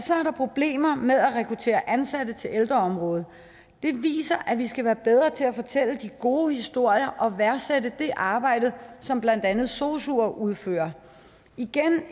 er problemer med at rekruttere ansatte til ældreområdet det viser at vi skal være bedre til at fortælle de gode historier og værdsætte det arbejde som blandt andet sosuer udfører igen